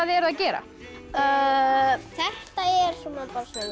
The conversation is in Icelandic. eruð að gera þetta er svona